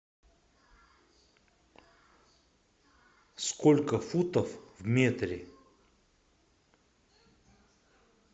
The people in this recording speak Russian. сколько футов в метре